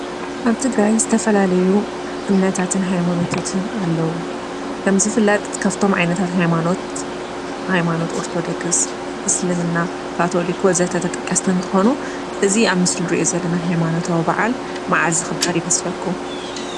ኣብ ትግራይ ዝተፈላለዩ እምነታትን ሃይማኖታትን ኣለው። ከም ዝፍለጥ ካብቶም ዓይነታት ሃይማኖት ሃይማኖት ኦርቶዶክስ፣ እስልምና፣ ካቶሊክ ወዘተ ተጠቀስቲ እንትኮኑ እዚ ኣብ ምስሊ እንርእዮ ዘለና ሃይማኖታዊ በዓል መዓዝ ዝክበር ይመስለኩም?